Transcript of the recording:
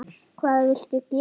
Hvað viltu gera?